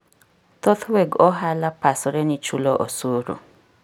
Thoth weg ohala pasre ni chulo osuru